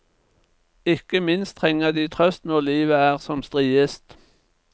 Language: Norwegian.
Ikke minst trenger de trøst når livet er som striest.